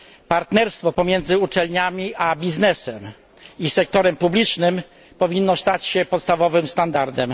Partnerstwo pomiędzy uczelniami a biznesem i sektorem publicznym powinno stać się podstawowym standardem.